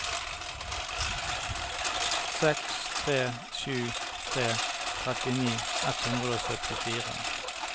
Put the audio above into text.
seks tre sju tre trettini ett hundre og syttifire